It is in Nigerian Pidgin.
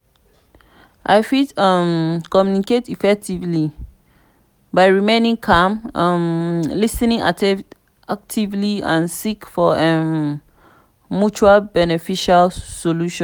i fit um communicate effectively by remaining calm um lis ten actively and seek for um mutual beneficial solution.